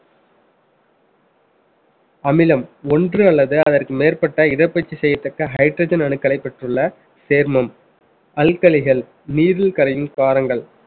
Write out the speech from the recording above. அமிலம் ஒன்று அல்லது அதற்கு மேற்பட்ட இடப்பெயர்ச்சி செய்யத்தக்க hydrogen அணுக்களை பெற்றுள்ள சேர்மம் நீரில் கரையும் காரங்கள்